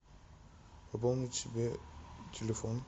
пополнить себе телефон